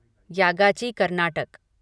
Yagachi Karnataka